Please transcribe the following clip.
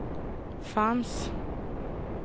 fanns